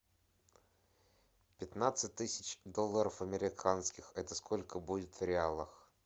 пятнадцать тысяч долларов американских это сколько будет в реалах